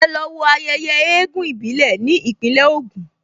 Ẹ lọ wo ayẹyẹ eégún ìbílẹ̀ ní Ìpínlẹ̀ Ògùn!